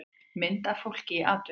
mynd af fólki í atvinnuleit